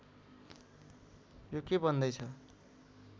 यो के भन्दै छ